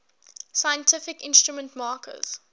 scientific instrument makers